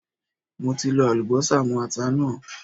Mo ti lọ Àlùbọ́sà mó ata náà.